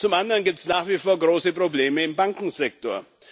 Zum anderen gibt es nach wie vor große Probleme im Bankensektor.